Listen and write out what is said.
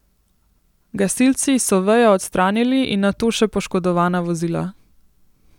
Gasilci so vejo odstranili in nato še poškodovana vozila.